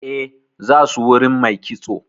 Eh, za su wurin mai kitso.